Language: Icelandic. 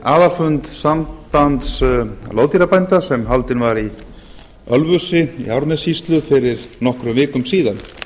aðalfund sambands loðdýrabænda sem haldinn var í ölfusi í árnessýslu fyrir nokkrum vikum síðan